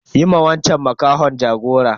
Yi ma wanchan makahon jagora.